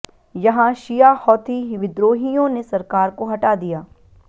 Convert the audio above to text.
यहां शिया हौथी विद्रोहियों ने सरकार को हटा दिया